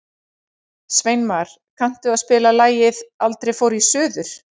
Sveinmar, kanntu að spila lagið „Aldrei fór ég suður“?